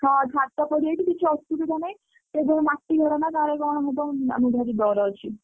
ହଁ ଛାତ ପଡିଯାଇଛି କିଛି ଅସୁବିଧା ନାହିଁ ସେ ଯୋଉ ମାଟି ଘର ନା କାଳେ କଣ ହବ ଆମକୁ ଭାରି ଡ଼ର ଅଛି।